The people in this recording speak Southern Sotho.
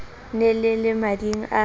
ne le le mading a